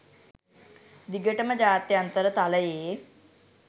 දිගටම ජාත්‍යන්තර තලයේ